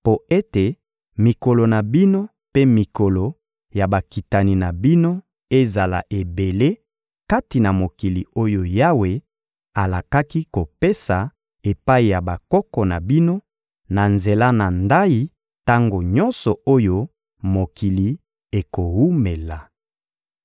mpo ete mikolo na bino mpe mikolo ya bakitani na bino ezala ebele kati na mokili oyo Yawe alakaki kopesa epai ya bakoko na bino na nzela na ndayi tango nyonso oyo mokili ekowumela.